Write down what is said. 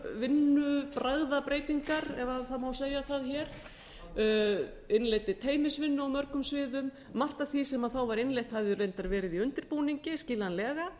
vinnubragðabreytingar ef það má segja það hér innleiddi teymisvinnu á mörgum sviðum margt af því sem þá var innleitt hafði reyndar verið í undirbúningi skiljanlega